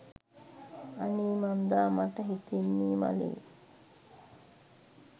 අනේ මන්ද මට හිතෙන්නේ මලේ